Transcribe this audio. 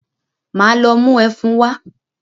Máa lọ mú ẹfun wá.